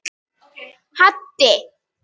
Haddi